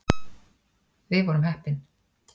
Við vorum heppin.